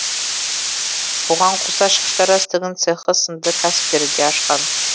бұған қоса шаштараз тігін цехы сынды кәсіптерді де ашқан